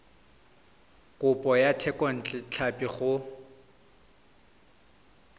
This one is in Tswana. kopo ya thekontle tlhapi go